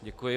Děkuji.